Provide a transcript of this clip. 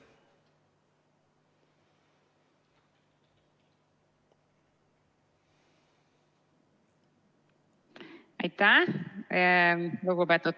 Aitäh!